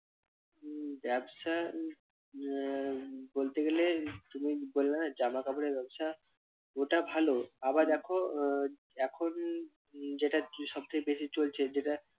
উহ ব্যবসা আহ বলতে গেলে তুমি বললা না জামা কাপড়ের ব্যবসা ওটা ভালো আবার দেখো আহ এখন যেটা সবথেকে বেশি চলছে যেটা